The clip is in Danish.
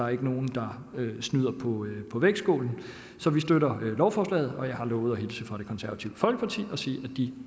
er nogen der snyder på vægtskålen så vi støtter lovforslaget og jeg har lovet at hilse fra det konservative folkeparti og sige at de